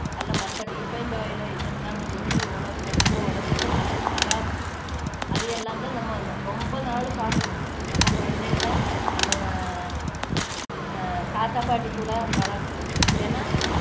அல்ல மத்த refined oil ஓ இதெல்லாம் நம்மளுக்கு உண~ நம்ம உடம்புக்கு நல்லது தராது அது எல்லாம் தான் நம்ம ரொம்ப நாள் பார்க்கணும் நம்ம குழந்தைங்களை நம்ம அஹ் தாத்தா பாட்டி கூட வளர்க்கணும் ஏன்னா